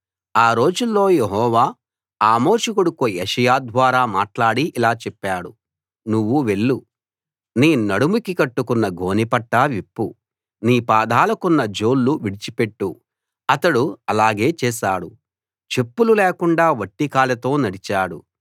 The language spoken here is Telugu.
ఆ రోజుల్లో యెహోవా ఆమోజు కొడుకు యెషయా ద్వారా మాట్లాడి ఇలా చెప్పాడు నువ్వు వెళ్ళు నీ నడుముకి కట్టుకున్న గోనె పట్టా విప్పు నీ పాదాలకున్న జోళ్ళు విడిచిపెట్టు అతడు అలాగే చేశాడు చెప్పులు లేకుండా వట్టి కాళ్ళతో నడిచాడు